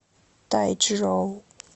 тайчжоу